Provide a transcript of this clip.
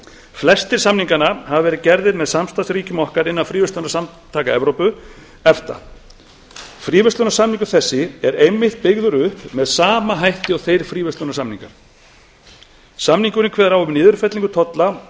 flestir samninganna hafa verið gerðir með samstarfsríkjum okkar innan fríverslunarsamtaka evrópu efta fríverslunarsamningur þessi er einmitt byggður upp með sama hætti og þeir fríverslunarsamningar samningurinn kveður á um niðurfellingu tolla